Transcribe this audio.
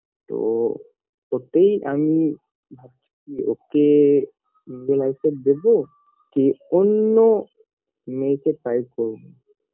তো ওটাই আমি ভাবছিকি ওকে নিজের life -এ দেবো কি অন্য মেয়ে কে try - করবো